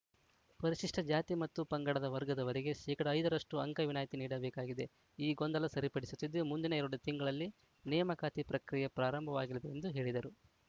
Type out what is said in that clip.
ಪರಿಶಿಷ್ಟಜಾತಿ ಮತ್ತು ಪಂಗಡದ ವರ್ಗದವರಿಗೆ ಶೇಕಡಾ ಐದ ರಷ್ಟುಅಂಕ ವಿನಾಯಿತಿ ನೀಡಬೇಕಾಗಿದೆ ಈ ಗೊಂದಲ ಸರಿಪಡಿಸುತ್ತಿದ್ದು ಮುಂದಿನ ಎರಡು ತಿಂಗಳಲ್ಲಿ ನೇಮಕಾತಿ ಪ್ರಕ್ರಿಯೆ ಪ್ರಾರಂಭವಾಗಲಿದೆ ಎಂದು ಹೇಳಿದರು